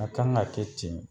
A kan ka kɛ ten de.